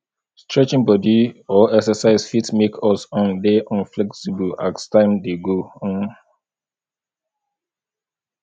stretching bodi or exercise fit make us um dey um flexible as time dey go um